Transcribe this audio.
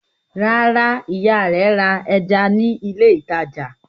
Rárá, ìyá rẹ̀ ra ẹja ní ilé-ìtajà.